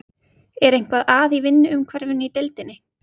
Er eitthvað að í vinnuumhverfinu í deildinni?